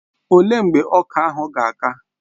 Ọ léé mgbe ọka ahụ ga-aka?